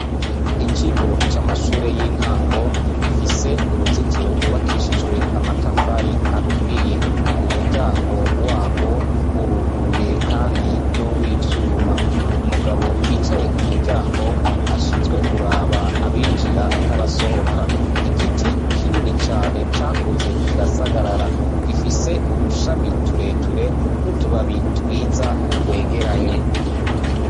Ikigo c'amashure y'intango, gifise uruzitoro rwubakishijwe amatafari aturiye; umuryango warwo uruguruye kandi ni uw'ivyumba; umugabo yicaye ku muryango ashinzwe kuraba abinjira n'abasohoka; igiti kinini cane cakuze kirasagarara, gifise udushami ture ture n'utubabi twiza twegeranye.